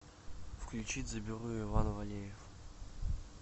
включить заберу иван валеев